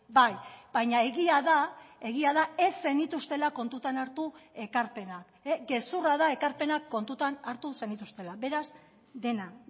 bai baina egia da egia da ez zenituztela kontutan hartu ekarpenak gezurra da ekarpenak kontutan hartu zenituztela beraz dena